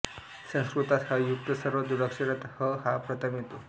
संस्कृतात ह् युक्त सर्व जोडाक्षरात ह् हा प्रथम येतो